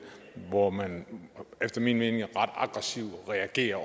hvor man efter min mening reagerer